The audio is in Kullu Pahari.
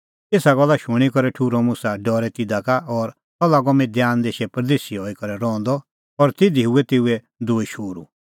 एसा गल्ला शूणीं करै ठुर्हअ मुसा डरै तिधा का और सह लागअ मिद्यान देशै परदेसी हई करै रहंदअ और तिधी हुऐ तेऊए दूई शोहरू